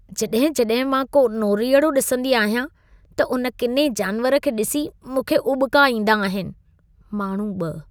जॾहिं-जॾहिं मां को नोरीअड़ो ॾिसंदी आहियां, त उन किने जानवर खे ॾिसी मूंखे उॿिका ईंदा आहिन। (माण्हू 2)